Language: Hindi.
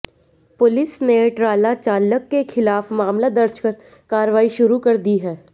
पुलिस ने ट्राला चालक के खिलाफ मामला दर्ज कर कार्रवाई शुरू कर दी है